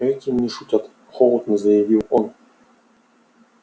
этим не шутят холодно заявил он